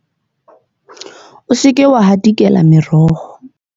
o se ke wa hatikela meroho